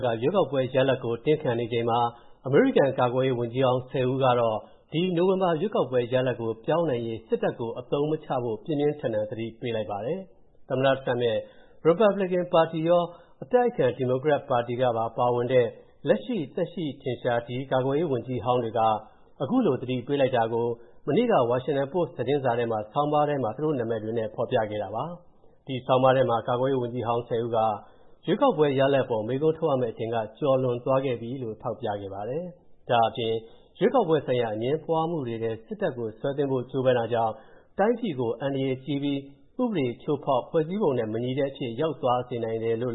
က ရွေးကောက်ပွဲ ရလဒ်ကို တင်းခံနေချိန်မှာ၊ အသက်ထင်ရှားရှိဆဲ အမေရိကန်ကာကွယ်ရေးဝန်ကြီးဟောင်း ၁၀ ဦးလုံးက ဒီနိုဝင်ဘာရွေးကောက်ပွဲရလဒ်ကို ပြောင်းနိုင်ရေး စစ်တပ်ကို အသုံးမချဖို့ ပြင်းပြင်းထန်ထန် သတိပေးလိုက်ပါတယ်။ သမ္မတ Trump ရဲ့ ရီပတ်ဘလစ်ကင်ပါတီရော၊ အတိုက်အခံ ဒီမိုကရက်ပါတီကပါ ပါဝင်တဲ့၊ လက်ရှိသက်ရှိထင်ရှား ဒီ ကာကွယ်ရေးဝန်ကြီးဟောင်းတွေက အခုလိုသတိပေးတာကို၊ မနေ့က ဝါရှင်တန်ပို့စ် သတင်းစာ ဆောင်းပါးထဲမှာ သူတို့နာမည်တွေနဲ့ ဖော်ပြခဲ့တာပါ။ ဒီဆောင်းပါးထဲမှာ ကာကွယ်ရေးဝန်ကြီးဟောင်း ၁၀ ဦးက ရွေးကောက်ပွဲရလဒ်အပေါ် မေးခွန်းထုတ်ရမဲ့ အချိန်ကကျော်လွန်ခဲ့ပါပြီလို့ ထောက်ပြခဲ့ပါတယ်။ ဒါ့အပြင် ရွေးကောက်ပွဲဆိုင်ရာ အငြင်းပွားမှုတွေထဲ စစ်တပ်ကို ဆွဲသွင်းဖို့ကြိုးပမ်းတာကြောင့် တိုင်းပြည်ကို အန္တရာယ်ကြီးပြီး ဥပဒေချိုးဖောက် ဖွဲ့စည်းပုံနဲ့ မညီတဲ့အဖြစ် ရောက်သွားစေနိုင်တယ်လို့